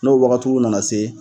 N'o wagatiw nana se